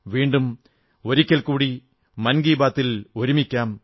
വീണ്ടും ഒരിക്കൽ കൂടി മൻ കീ ബാത്തിൽ വീണ്ടും ഒരുമിക്കാം